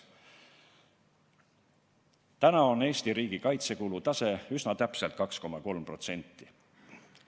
Täna on Eesti riigikaitsekulude osakaal üsna täpselt 2,3% SKT-st.